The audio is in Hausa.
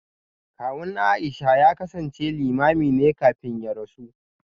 Kawun Aisha ya kasance Limamin ne kafin ya rasu